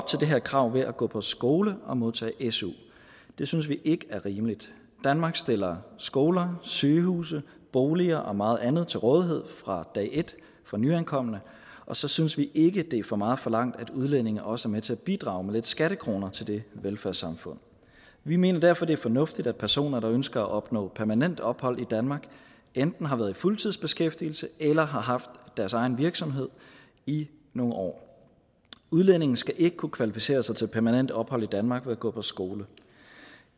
til det her krav ved at gå på skole og modtage su det synes vi ikke er rimeligt danmark stiller skoler sygehuse boliger og meget andet til rådighed fra dag et for nyankomne og så synes vi ikke det er for meget forlangt at udlændinge også er med til at bidrage med lidt skattekroner til det velfærdssamfund vi mener derfor det er fornuftigt at personer der ønsker at opnå permanent ophold i danmark enten har været i fuldtidsbeskæftigelse eller har haft deres egen virksomhed i nogle år udlændinge skal ikke kunne kvalificere sig til permanent ophold i danmark ved at gå på skole